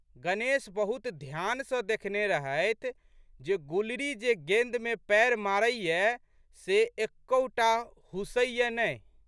गणेश बहुत ध्यानसँ देखने रहथि जे गुलरी जे गेंदमे पएर मारैए से एकहु टा हूसैए नहि।